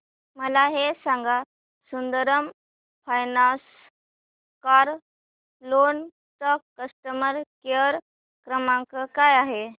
मला हे सांग सुंदरम फायनान्स कार लोन चा कस्टमर केअर क्रमांक काय आहे